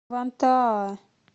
вантаа